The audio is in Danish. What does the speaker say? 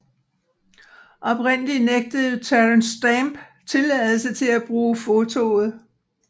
Oprindeligt nægtede Terence Stamp tilladelse til at bruge fotoet